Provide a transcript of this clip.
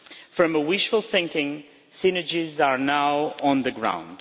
From wishful thinking, synergies are now on the ground.